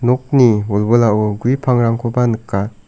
nokni wilwilao gue pangrangkoba nika.